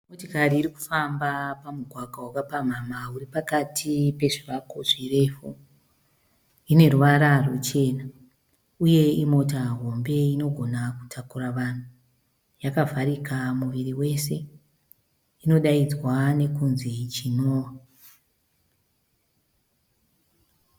Motokari iri kufamba pamugwagwa wakapamhamha uri pakati pezvivakwa zvirefu, ine ruvara rwuchena, uye imotokari hombe inogona kutakura vanhu, yakavharika muviri wese inodaidzwa nekunzi chiNoah.